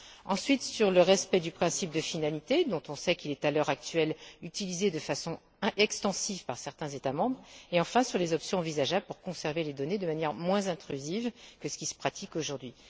ensuite, sur le respect du principe de finalité dont on sait qu'il est, à l'heure actuelle, utilisé de façon extensive par certains États membres et, enfin, sur les options envisageables pour conserver les données de manière moins intrusive que ce qui se pratique aujourd'hui.